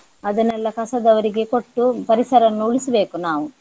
ಅದನ್ನೆಲ್ಲ ಕಸದವರಿಗೆ ಕೊಟ್ಟು ಪರಿಸರವನ್ನು ಉಳಿಸ್ಬೇಕು ನಾವು.